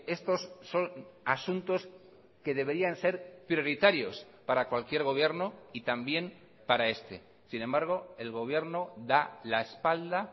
estos son asuntos que deberían ser prioritarios para cualquier gobierno y también para este sin embargo el gobierno da la espalda